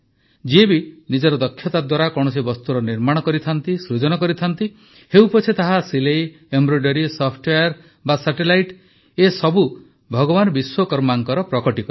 ଯିଏ ବି ନିଜର ଦକ୍ଷତା ଦ୍ୱାରା କୌଣସି ବସ୍ତୁର ନିର୍ମାଣ କରେ ସୃଜନ କରେ ହେଉପଛେ ତାହା ସିଲେଇଏମ୍ବ୍ରଏଡୋରୀ ସଫ୍ଟୱେର୍ ହେଉ ବା ସାଟେଲାଇଟ୍ ଏସବୁ ଭଗବାନ ବିଶ୍ୱକର୍ମାଙ୍କର ପ୍ରକଟୀକରଣ